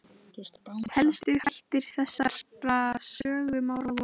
Helstu þætti þessarar sögu má ráða af eftirfarandi samantekt.